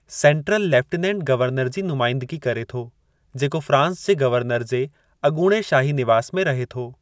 Central lieutenant governor जी नुमाइंदगी करे थो, जेको फ़्रांस जे गवर्नर जे अॻूणे शाही निवास में रहे थो।